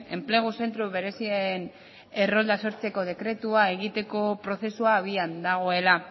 enplegu zentro berezien errolda sortzeko dekretua egiteko prozesua abian dagoela